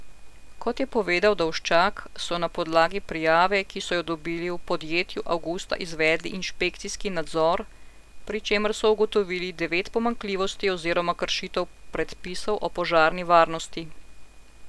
Kot je povedal Dolščak, so na podlagi prijave, ki so jo dobili, v podjetju avgusta izvedli inšpekcijski nadzor, pri čemer so ugotovili devet pomanjkljivosti oziroma kršitev predpisov o požarni varnosti.